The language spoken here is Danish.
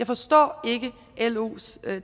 forstår los